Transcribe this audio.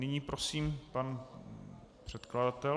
Nyní prosím pan předkladatel.